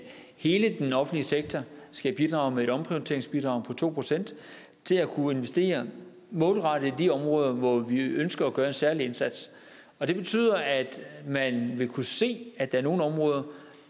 hele den offentlige sektor skal bidrage med et omprioriteringsbidrag på to procent til at kunne investere målrettet på de områder hvor vi ønsker at gøre en særlig indsats det betyder at man vil kunne se at der er nogle områder